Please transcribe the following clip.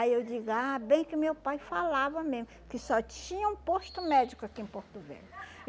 Aí eu digo, ah, bem que meu pai falava mesmo, que só tinha um posto médico aqui em Porto Velho.